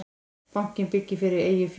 Bankinn byggir fyrir eigið fé